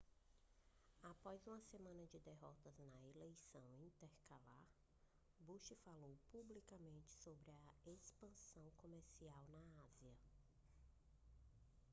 após uma semana de derrotas na eleição intercalar bush falou publicamente sobre a expansão comercial na ásia